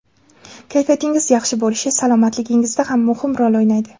Kayfiyatingiz yaxshi bo‘lishi salomatligingizda ham muhim rol o‘ynaydi.